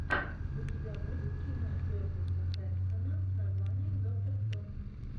у тебя будет кино кертиса хэнсона с названием доктор кто